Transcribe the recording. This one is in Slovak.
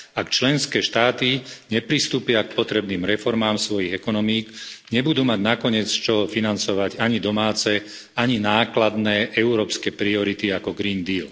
Ak členské štáty nepristúpia k potrebným reformám svojich ekonomík, nebudú mať nakoniec z čoho financovať ani domáce, ani nákladné európske priority ako Green Deal.